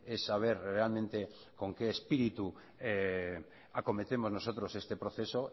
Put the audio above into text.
es saber realmente con qué espíritu acometemos nosotros este proceso